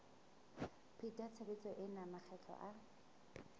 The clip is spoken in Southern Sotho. pheta tshebetso ena makgetlo a